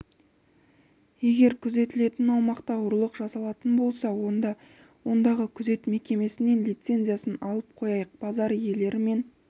егер күзетілетін аумақта ұрлық жасалатын болса онда ондағы күзет мекемесінен лицензиясын алып қояйық базар иелері мен